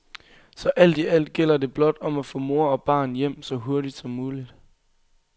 Så alt i alt gælder det blot om at få mor og barn hjem så hurtigt som muligt.